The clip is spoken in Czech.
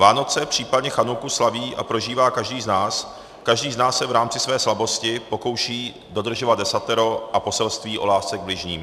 Vánoce, případně chanuku slaví a prožívá každý z nás, každý z nás se v rámci své slabosti pokouší dodržovat desatero a poselství o lásce k bližním.